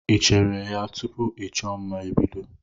Ị cheere ya tupu ịchọ mma ebido?